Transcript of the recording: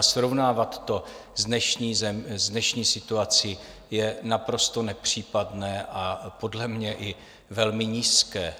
A srovnávat to s dnešní situací je naprosto nepřípadné a podle mě i velmi nízké.